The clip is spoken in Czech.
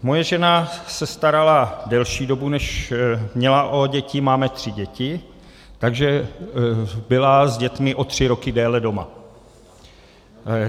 Moje žena se starala delší dobu, než měla, o děti, máme tři děti, takže byla s dětmi o tři roky déle doma.